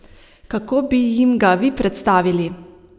Kako bi jim ga vi predstavili?